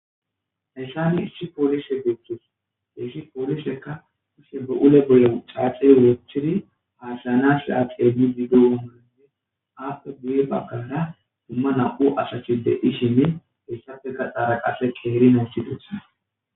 Hayssani issi poolishe guththus issi poolisekka usse bu'ule bolle caaxe woochiri haasaynashia qeemmi diggoonanne aappe guye bagkara dumma na'u asachi dedhishinne hessafeka xaara qase qeeri nayssidusa.